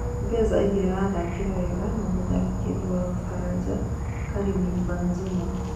Lopez augire aathakĩre wega na mũtharĩkĩri wa Baranja Karĩmi Banzuma.